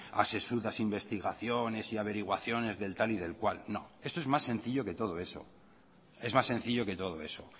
a sesudas investigaciones y averiguaciones del tal y del cual no esto es más sencillo que todo eso es más sencillo que todo eso